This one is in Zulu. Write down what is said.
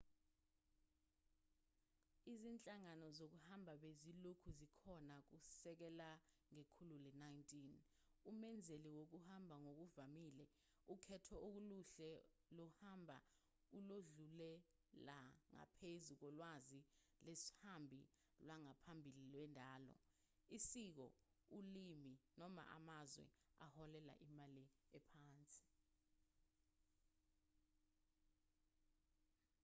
izinhlangano zokuhamba bezilokhu zikhona kusukela ngekhulu le-19 umenzeli wokuhamba ngokuvamile ukhetho oluhle lohambo oludlulela ngaphezu kolwazi lwesihambi lwangaphambili lwendalo isiko ulimi noma amazwe aholela imali ephansi